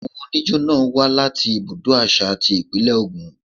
Àwọn oníjó náà wá láti ibùdó àṣà ti Ìpínlẹ̀ Ògùn.